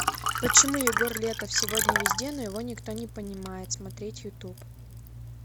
почему егор летов сегодня везде но его никто не понимает смотреть ютуб